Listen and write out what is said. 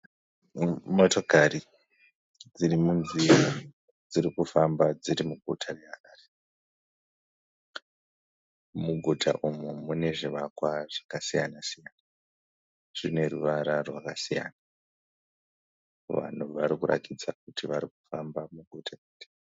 Motokari dziri munzira dzirikufamba muguta dziri muguta reHarare. Muguta umu mune zvivakwa zvakasiyana-siyana. Zvine ruvara rwakasiyana. Vanhu varikurakidza kuti varikufamba muguta iri.